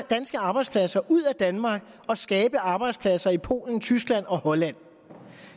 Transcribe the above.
danske arbejdspladser ud af danmark og skabe arbejdspladser i polen tyskland og holland